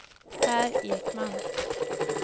Pär Ekman